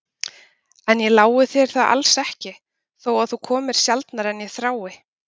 En ég lái þér það alls ekki, þó að þú komir sjaldnar en ég þrái.